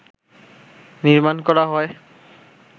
নির্মাণ করা হয়